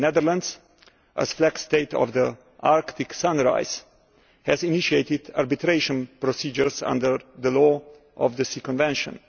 The Netherlands, as flag state of the Arctic Sunrise, has initiated arbitration procedures under the Law of the Sea Convention.